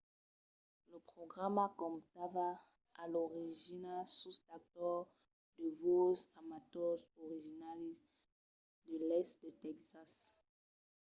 lo programa comptava a l'origina sus d'actors de voses amators originaris de l'èst de tèxas